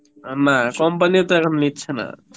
আ না company ও তো এখন নিচ্ছে না